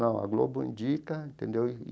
Não, a Globo indica, entendeu?